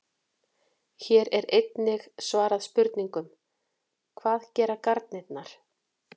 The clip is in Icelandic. Hér er einnig svarað spurningunum: Hvað gera garnirnar?